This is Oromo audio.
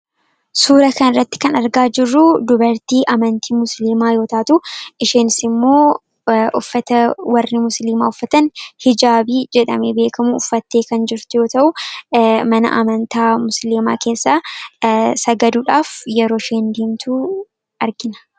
Suura kana irratti kan argaa jirru dubartii amantii musliimaa yootaatu isheenis immoo uffata warri musliimaa uffatan Hijaabii jedhamee beekamu uffattee kan jirtu yoota'u mana amantaa musliimaa keessa sagaduudhaaf yeroo isheen deemtu argina.